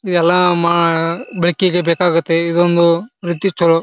ಎಲ್ಲ ಮಾ ಬೆಕ್ಕಿಗೆ ಬೇಕಾಗುತ್ತೆ ಇದೊಂದು ವ್ಯಕ್ತಿತ್ವಗಳು--